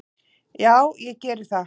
Já ég geri það.